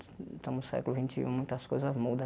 Estamos no século vinte e um, muitas coisas muda.